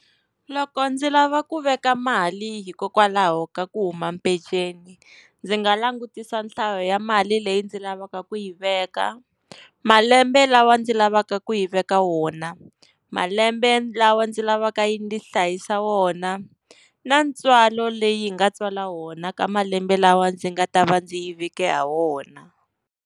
Loko ndzi lava ku veka mali, hikokwalaho ka ku huma peceni. Ndzi nga langutisa nhlayo ya mali leyi ndzi lavaka ku yi veka, malembe lawa ndzi lavaka ku yi veka wona, malembe lawa ndzi lavaka yi ndzi hlayisa wona na ntswalo leyi nga tswala wona ka malembe lawa ndzi nga ta va ndzi yi veke ha wona.